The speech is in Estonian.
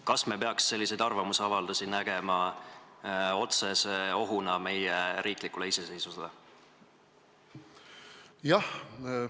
Kas me peaks selliseid arvamusavaldusi nägema otsese ohuna meie riiklikule iseseisvusele?